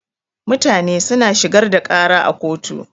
Mutane suna shigar da ƙara a kotu.